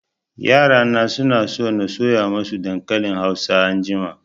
Yara na suna so na soya masu dankalin hausa anjima